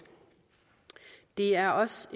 det er også